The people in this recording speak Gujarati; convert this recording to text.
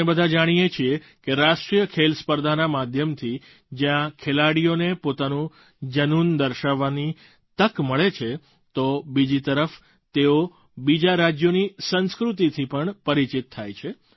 આપણે બધાં જાણીએ છીએ કે રાષ્ટ્રીય ખેલ સ્પર્ધાના માધ્યમથી જ્યાં ખેલાડીઓને પોતાનું જનૂન દર્શાવવાનો તક મળે છે તો બીજી તરફ તેઓ બીજાં રાજ્યોની સંસ્કૃતિથી પણ પરિચિત થાય છે